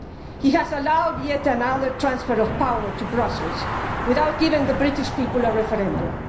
He has allowed yet another transfer of power to Brussels without giving the British people a referendum.